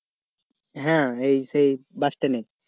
হ্যাঁ হ্যাঁ সেই bus stand এ